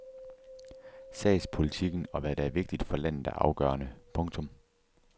Sagspolitikken og hvad der er vigtigt for landet er afgørende. punktum